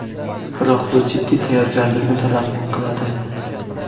Biroq bu jiddiy tayyorgarlikni talab qiladi.